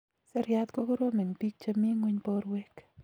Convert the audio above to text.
seriat kokorom eng pik cheminguny porwek